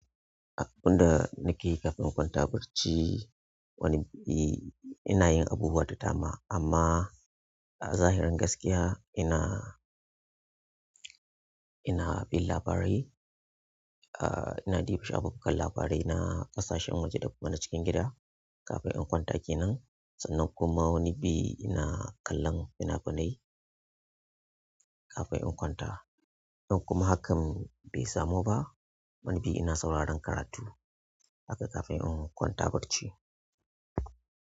Inda nake kafin in kwanta barci wani ni, ina yin abubuwa da dama amma a zahirin gaskiya ina, ina bin labarai. Ah, ina diba shafukan labarai na ƙasashen waje da kuma na cikin gida kafin inkwanta kenan. Sannan kuma wani bi ina kallon fina-finai kafin in kwanta. In kuma hakan be samu ba wani bi ina sauraron karatu haka kafin inkwanta barci.